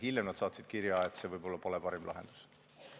Hiljem nad saatsid kirja, et võib-olla see siiski ei ole parim lahendus.